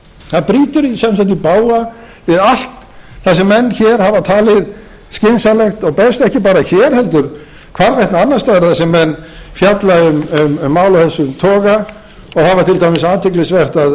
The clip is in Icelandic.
það brýtur sem sagt í bága við allt það sem menn hér hafa talið skynsamlegt og best ekki bara hér heldur hvarvetna annars staðar þar sem menn fjalla um mál af þessum toga það var til dæmis athyglisvert að